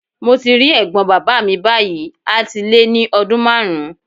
Mo ti rí ẹ̀gbọ́n bàbá mi báyìí a ti lé ní ọdún márùn-ún.